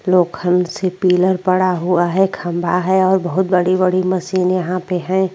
लोखंड से पिलर पड़ा हुआ है खम्बा है और बहोत बड़ी - बड़ी मशीन यहाँ पे है।